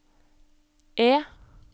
E